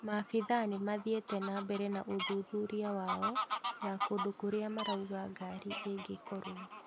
Maabitha nĩmathiĩte na mbere na ũthuthuria wao ya kũndũ kũrĩa marauga ngari ĩngĩkorwa